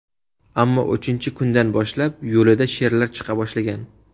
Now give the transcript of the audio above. Ammo uchinchi kundan boshlab, yo‘lida sherlar chiqa boshlagan.